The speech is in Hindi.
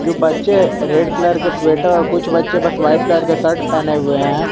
बच्चे रेड कलर के स्वेटर कुछ बच्चे बस वाइट कलर के शर्ट पहने हुए है।